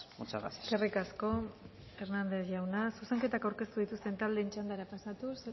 muchas gracias eskerrik asko hernández jauna zuzenketak aurkeztu dituzten taldeen txandara pasatuz